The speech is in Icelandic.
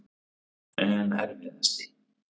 En erfiðasti?